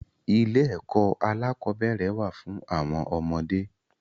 Ilé ẹkọ alakọ̀bẹ́ẹ́rẹ̀ wà fún àwọn ọmọdé.